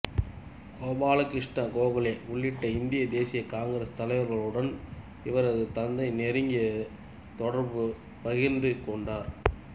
கோபால கிருஷ்ணா கோகலே உள்ளிட்ட இந்திய தேசிய காங்கிரசு தலைவர்களுடன் இவரது தந்தை நெருங்கிய தொடர்பைப் பகிர்ந்து கொண்டார்